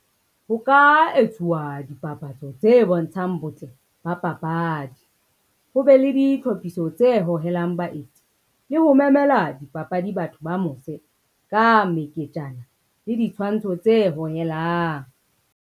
Ho ka etsuwa dipapatso tse bontshang botle ba papadi. Ho be le ditlhophiso tse hohelang baeti le ho memela dipapadi batho ba mose ka meketjana le ditshwantsho tse hohelang.